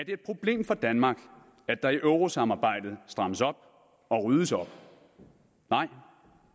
et problem for danmark at der i eurosamarbejdet strammes op og ryddes op nej